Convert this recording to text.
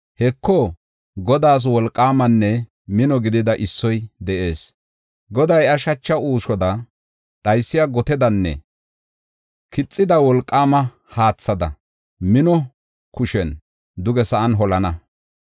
Heko, Godaas wolqaamanne mino gidida issoy de7ees. Goday iya shacha uushoda, dhaysiya gotedanne kixida wolqaama haathada mino kushiyan duge sa7an holana.